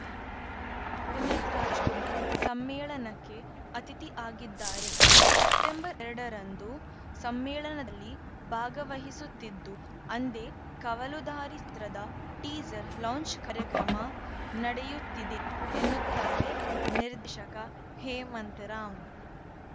ಪುನೀತ್‌ ರಾಜ್‌ಕುಮಾರ್‌ ಸಮ್ಮೇಳನಕ್ಕೆ ಅತಿಥಿ ಆಗಿದ್ದಾರೆ ಸೆಪ್ಟೆಂಬರ್‌ ಎರಡರಂದು ಸಮ್ಮೇಳನದಲ್ಲಿ ಭಾಗವಹಿಸುತ್ತಿದ್ದು ಅಂದೇ ಕವಲುದಾರಿ ಚಿತ್ರದ ಟೀಸರ್‌ ಲಾಂಚ್‌ ಕಾರ್ಯಕ್ರಮ ನಡೆಯುತ್ತಿದೆ ಎನ್ನುತ್ತಾರೆ ನಿರ್ದೇಶಕ ಹೇಮಂತ್‌ರಾವ್‌